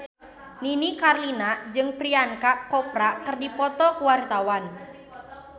Nini Carlina jeung Priyanka Chopra keur dipoto ku wartawan